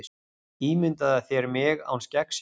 Ímyndaðu þér mig án skeggsins.